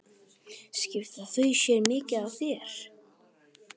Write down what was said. Skipta þau sér mikið af þér?